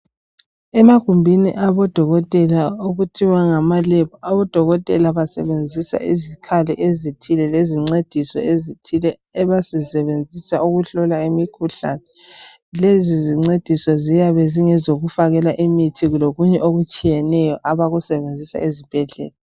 Emagumbini abodokotela okuthiwa ngamalebhu, abodokotela basebenzisa izikhali ezithile lezincediso ezithile abazisebenzisayo ukuhlola imikhuhlane. Lezo zincediso ziyabe zingezokufakela imithi lokunye okutshiyeneyo abakusebenzisa ezibhedlela.